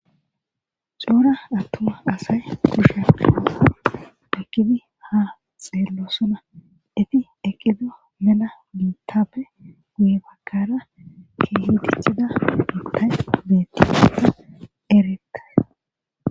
Cora atuma asay kushan ayko qomo oykid ha xelosona , eti eqida mela bittappe guye bagara keeh dexida bitay betes,...